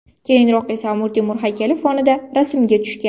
Keyinroq esa Amir Temur haykali fonida rasmga tushgan.